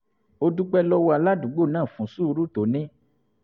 ó dúpẹ́ lọ́wọ́ aládùúgbò náà fún sùúrù tó ní